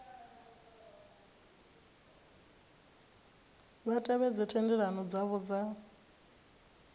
vha tevhedze thendelano dzavho dza